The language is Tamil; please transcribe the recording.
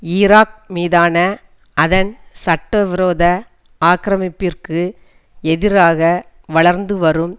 ஈராக் மீதான அதன் சட்டவிரோத ஆக்கிரமிப்பிற்கு எதிராக வளர்ந்துவரும்